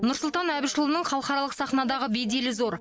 нұрсұлтан әбішұлының халықаралық сахнадағы беделі зор